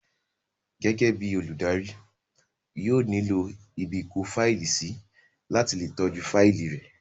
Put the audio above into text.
Gẹ́gẹ́ bíi olùdarí, yóò nílò ibìkófáìlì sí láti le tọ́jú fáìlì rẹ̀